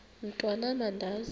mntwan am andizi